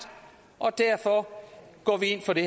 og derfor går vi ind for det